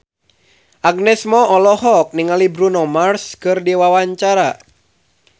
Agnes Mo olohok ningali Bruno Mars keur diwawancara